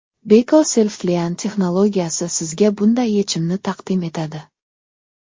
Beko SelfClean+ texnologiyasi sizga bunday yechimni taqdim etadi.